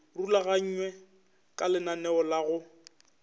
rulaganywe ka lenaneo la go